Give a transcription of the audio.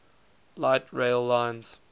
light rail lines